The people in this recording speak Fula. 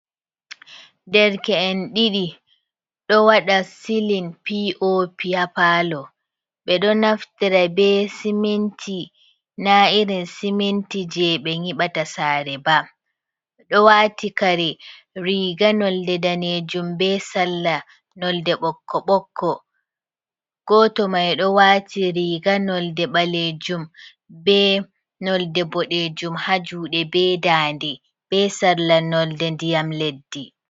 Derke’en ɗiɗi ɗo waɗa silin popy ha pallo, ɓe ɗo naftira be siminti na irin siminti je ɓe nyiɓata sare ba, oɗo wati kare riga nolde ɗanejum be salla nolde ɓokko ɓokko, goto mai ɗo wati riga nolde ɓalejum be nolde boɗejum ha juɗe be dande, be salla nolde ndiyam leddi.